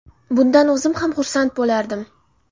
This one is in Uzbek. Bundan o‘zim ham xursand bo‘lardim.